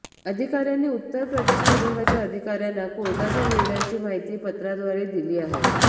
अधिकाऱ्यांनी उत्तर प्रदेश तुरुंगाच्या अधिकाऱ्यांना कोर्टाच्या निर्णयाची माहिती पत्राद्वारे दिली आहे